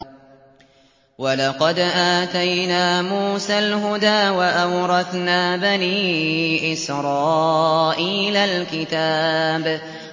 وَلَقَدْ آتَيْنَا مُوسَى الْهُدَىٰ وَأَوْرَثْنَا بَنِي إِسْرَائِيلَ الْكِتَابَ